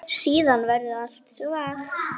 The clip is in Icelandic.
Nú hlærðu, lágum hrjúfum hlátri.